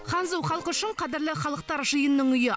ханзу халқы үшін қадірлі халықтар жиынның үйі